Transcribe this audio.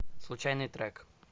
случайный трек